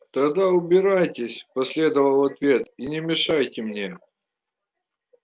тогда убирайтесь последовал ответ и не мешайте мне